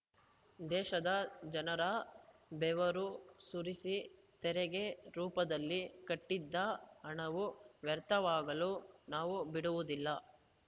ದೇಶದ ಜನರ ಬೆವರು ಸುರಿಸಿ ತೆರಿಗೆ ರೂಪದಲ್ಲಿ ಕಟ್ಟಿದ್ದ ಹಣವು ವ್ಯರ್ಥವಾಗಲು ನಾವು ಬಿಡುವುದಿಲ್ಲ